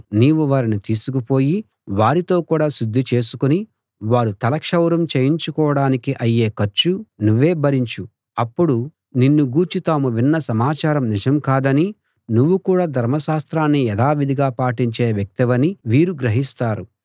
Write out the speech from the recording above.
నీవు వారిని తీసుకుపోయి వారితో కూడా శుద్ధి చేసుకుని వారు తల క్షౌరం చేయించుకోడానికి అయ్యే ఖర్చు నువ్వే భరించు అప్పుడు నిన్ను గూర్చి తాము విన్న సమాచారం నిజం కాదనీ నువ్వు కూడా ధర్మశాస్త్రాన్ని యథావిధిగా పాటించే వ్యక్తివనీ వీరు గ్రహిస్తారు